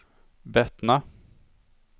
Bettna